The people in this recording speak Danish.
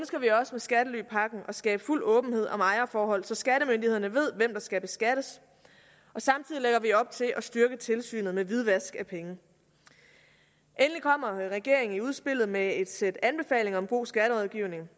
med skattelypakken at skabe fuld åbenhed om ejerforhold så skattemyndighederne ved hvem der skal beskattes og samtidig lægger vi op til at styrke tilsynet med hvidvask af penge endelig kommer regeringen i udspillet med et sæt anbefalinger om god skatterådgivning